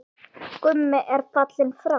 Gummi er fallinn frá.